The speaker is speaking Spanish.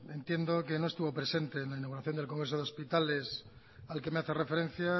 entiendo que no es tuvo presente en la inauguración del congreso de hospitales al que me hace referencia